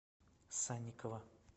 санникова